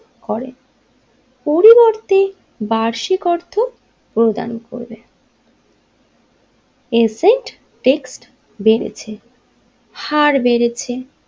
করেন পরিবর্তে বার্ষিক অর্থ প্রদান করবে এসেন্স টেক্সট বেড়েছে হার বেড়েছে।